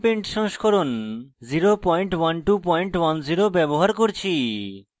gchempaint সংস্করণ 01210 ব্যবহার করছি